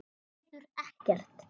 Getur ekkert.